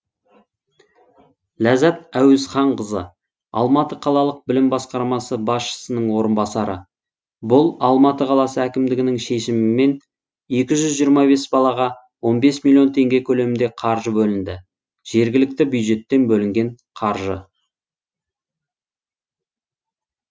ләззат әуезханқызы алматы қалалық білім басқармасы басшысының орынбасары бұл алматы қаласы әкімдігінің шешіміменен екі жүз жиырма бес балаға он бес миллион теңге көлемінде қаржы бөлінді жергілікті бюджеттен бөлінген қаржы